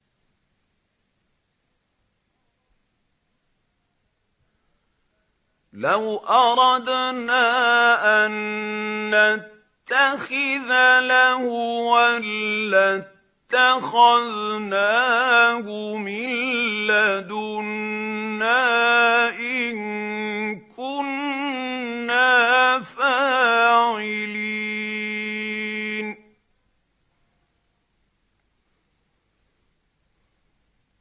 لَوْ أَرَدْنَا أَن نَّتَّخِذَ لَهْوًا لَّاتَّخَذْنَاهُ مِن لَّدُنَّا إِن كُنَّا فَاعِلِينَ